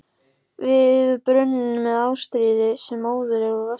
Við brunninn með Ástríði sem er móðir mín úr Vestmannaeyjum.